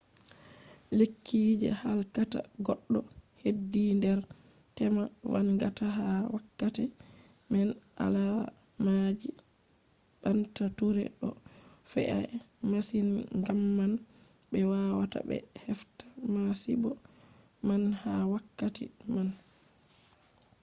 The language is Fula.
lekki je halkata goddo hedi nder tema vangata ha wakkati man. alaamaji banta ture do fe,’a masin gamman be wawata be hefta masibo man ha wakkati man